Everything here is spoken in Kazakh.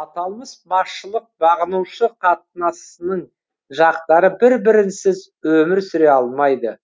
аталмыш басшылық бағынушы қатынасының жақтары бір бірінсіз өмір сүре алмайды